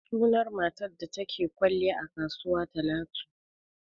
Sunan matar da ta ke kwalliya a kasuwa Talatu.